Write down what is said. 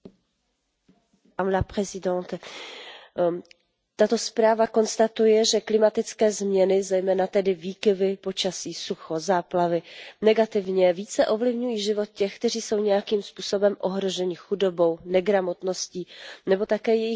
Tato zpráva konstatuje, že klimatické změny, zejména tedy výkyvy počasí, sucho, záplavy, negativně více ovlivňují život těch, kteří jsou nějakým způsobem ohroženi chudobou, negramotností nebo také jejich důstojnost není brána dostatečně vážně ve společnosti.